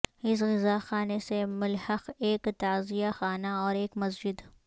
اس عزاخانے سے ملحق ایک تعزیہ خانہ اور ایک مسجد